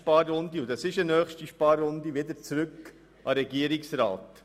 Dieser soll dann eine nächste Sparrunde vorbereiten.